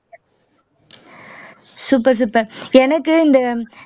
super super எனக்கு இந்த